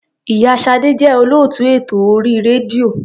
Ì̀yá Ṣadé jẹ́ olóòtú ètò orí rédíò.